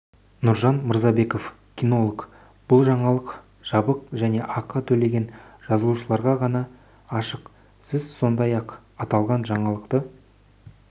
нұржан мырзабеков кинолог бұл жаңалық жабық және ақы төлеген жазылушыларға ғана ашық сіз сондай-ақ аталған жаңалықты